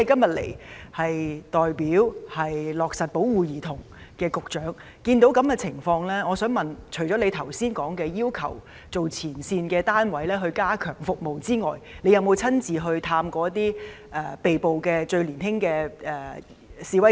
局長是負責落實保護兒童政策的官員，目睹這種情況，除剛才提到要求前線單位加強提供服務之外，我想問他有否親自探訪年紀最小的被捕示威者？